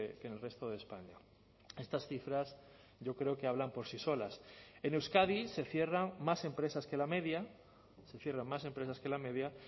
que en el resto de españa estas cifras yo creo que hablan por sí solas en euskadi se cierran más empresas que la media se cierran más empresas que la media